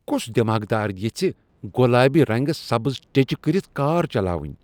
كُس دیماغدار یژھہِ گۄلابہِ رنگہٕ سبز ٹیچہِ كٔرِتھ كار چلاوٕنۍ؟